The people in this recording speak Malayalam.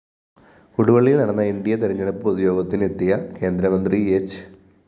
കൊടുവള്ളിയില്‍ നടന്ന ന്‌ ഡി അ തെരഞ്ഞെടുപ്പ് പൊതുയോഗത്തിനെത്തിയ കേന്ദ്രമന്ത്രി ഹ്‌